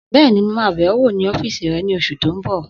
Bẹ́ẹ̀ni, mo máa bẹ̀ ọ wò ní ọ́fìsì rẹ ní oṣù tó n bọ̀